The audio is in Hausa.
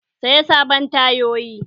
Saya sabon tayoyi!